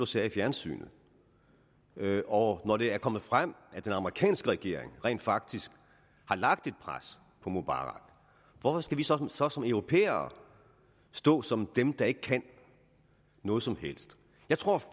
sagde i fjernsynet og når det er kommet frem at den amerikanske regering rent faktisk har lagt pres på mubarak hvorfor skal vi så så som europæere stå som dem der ikke kan noget som helst jeg tror